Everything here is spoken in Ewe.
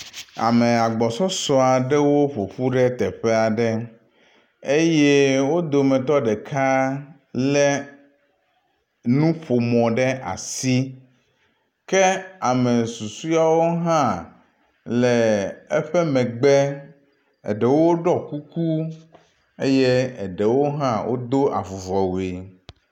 Ame agbɔsɔsɔ aɖewo ƒoƒu ɖe teƒe aɖe eye wo dometɔ ɖeka lé nuƒomɔ ɖe asi ke ame susuɔwo hã le eƒe megbe, eɖewo ɖɔ kuku eye eɖewo hã wodo avuvɔwui.